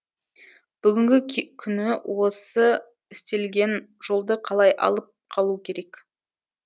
бүгінгі күні осы істелген жолды қалай алып қалу керек